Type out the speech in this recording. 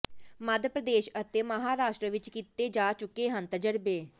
ਮੱਧ ਪ੍ਰਦੇਸ਼ ਅਤੇ ਮਹਾਰਾਸ਼ਟਰ ਵਿਚ ਕੀਤੇ ਜਾ ਚੁੱਕੇ ਹਨ ਤਜ਼ਰਬੇ